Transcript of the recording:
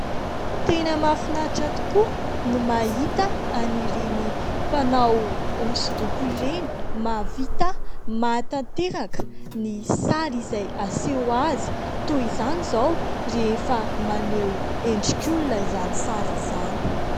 Tena mahafinatra tokoa no mahita an'ireny mpanao hosodoko ireny. Mahavita manatanteraka ny sary izay aseho azy ; toy izany izao rehefa maneho endrik'olona izany sary izany.